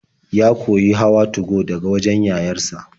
Ya koyi hawa 2go daga wajen yayar sa.